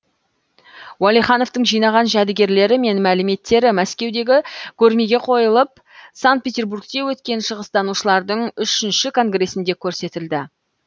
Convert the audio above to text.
уәлихановтың жинаған жәдігерлері мен мәліметтері мәскеудегі көрмеге қойылып санк петерургте өткен шығыстанушылардың үшінші конгресінде көрсетілді